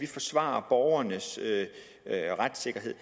forsvarer borgernes retssikkerhed